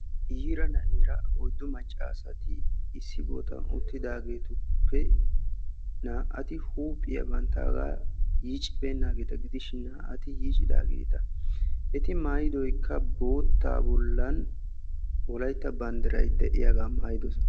yiira na'eera oyddo macca asati issi boottan uttidaageetuppe naa"ati huuphiyaa bantaagaa yiiccibeenaageeta gidishin naa'ati yiicidaageeta, eti maayidoykka boottaa bollan wolaytta bandiray de'iyaagaa maayidosona.